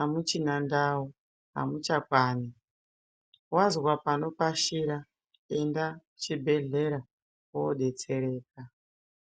amuchina ndau amuchakwani, wazwa panopashira enda kuchibhedhleya wodetsereka.